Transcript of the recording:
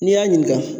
N'i y'a ɲininka